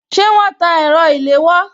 Ṣé wọn tan ẹ̀rọ ilewò